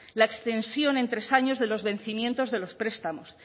la extensión en tres años de los vencimientos de los prestamos